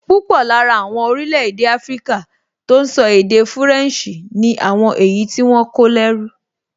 Púpọ̀ lára àwọn orílẹ̀-èdè áfríkà tó n sọ èdè fúrẹ̀nsì ni àwọn èyí tí wọ́n kó lẹ́rú